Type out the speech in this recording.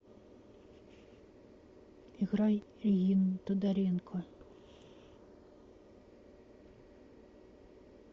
играй регину тодоренко